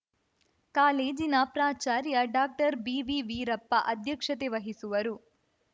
ಕಾಲೇಜಿನ ಪ್ರಾಚಾರ್ಯ ಡಾಕ್ಟರ್ಬಿವಿವೀರಪ್ಪ ಅಧ್ಯಕ್ಷತೆ ವಹಿಸುವರು